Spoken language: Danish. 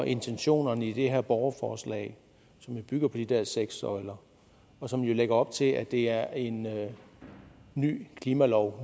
intentionerne i det her borgerforslag som bygger på de der seks søjler og som lægger op til at det er en ny klimalov